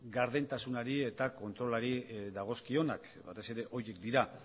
gardentasunari eta kontrolari dagozkionak batez ere horiek dira